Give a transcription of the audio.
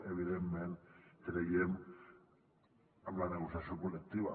evidentment creiem en la negociació col·lectiva